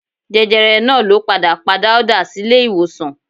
Jẹjẹrẹ náà ló padà pa Dáúdà sílé ìwòsàn